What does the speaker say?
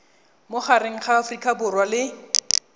magareng ga aforika borwa le